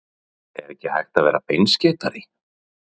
Er ekki hægt að vera beinskeyttari?